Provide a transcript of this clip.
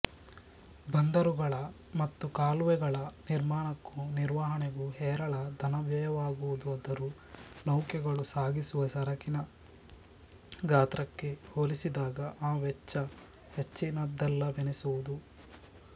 ಬಂದರುಗಳ ಮತ್ತು ಕಾಲುವೆಗಳ ನಿರ್ಮಾಣಕ್ಕೂ ನಿರ್ವಹಣೆಗೂ ಹೇರಳ ಧನವ್ಯಯವಾಗುವುದಾದರೂ ನೌಕೆಗಳು ಸಾಗಿಸುವ ಸರಕಿನ ಗಾತ್ರಕ್ಕೆ ಹೋಲಿಸಿದಾಗ ಈ ವೆಚ್ಚ ಹೆಚ್ಚಿನದಲ್ಲವೆನಿಸುವುದು